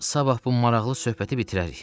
Sabah bu maraqlı söhbəti bitirərik.